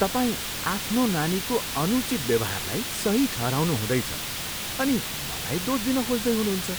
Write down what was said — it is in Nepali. तपाईँ आफ्नो नानीको अनुचित व्यवहारलाई सही ठहराउनु हुँदैछ अनि मलाई दोष दिन खोज्दै हुनुहुन्छ।